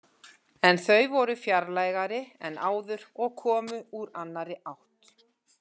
En þau voru fjarlægari en áður og komu úr annarri átt.